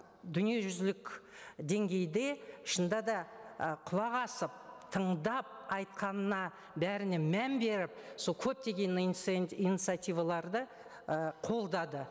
дүниежүзілік деңгейде шынында да ы құлақ асып тыңдап айтқанына бәріне мән беріп сол көптеген инициативаларды ы қолдады